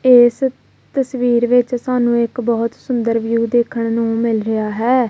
ਇਸ ਤਸਵੀਰ ਵਿੱਚ ਸਾਨੂੰ ਇੱਕ ਬਹੁਤ ਸੁੰਦਰ ਵਿਊ ਦੇਖਣ ਨੂੰ ਮਿਲ ਰਿਹਾ ਹੈ।